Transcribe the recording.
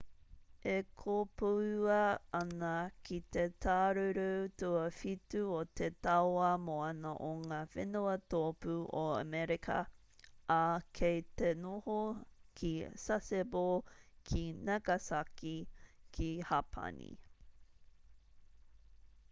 e kopoua ana ki te tāruru tuawhitu o te tauā moana o ngā whenua tōpū o amerika ā kei te noho ki sasebo ki nagasaki ki hapani